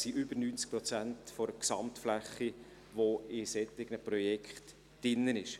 Es sind über 90 Prozent der Gesamtfläche, die in solchen Projekten drin sind.